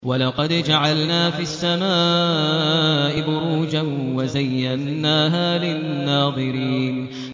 وَلَقَدْ جَعَلْنَا فِي السَّمَاءِ بُرُوجًا وَزَيَّنَّاهَا لِلنَّاظِرِينَ